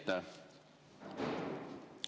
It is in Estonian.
Aitäh!